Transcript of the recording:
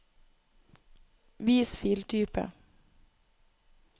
vis filtype